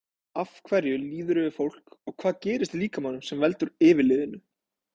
Af hverju líður yfir fólk og hvað gerist í líkamanum sem veldur yfirliðinu?